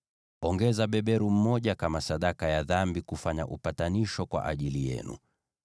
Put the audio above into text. Ongeza beberu mmoja kama sadaka ya dhambi kufanya upatanisho kwa ajili yenu.